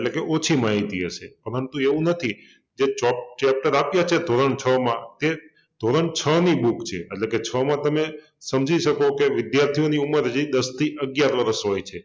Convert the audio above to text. એટલે કે ઓછી માહિતી હશે પરંતુ એવુ નથી જો ચોપ chapter આપિયા છે ધોરણ છ માં એ ધોરણ છ ની બુક છે એટલે કે છ માં તમે સમજી શકો કે વિદ્યાર્થીની ઉંંમર હજી દસ થી અગ્યાર વરસ હોય છે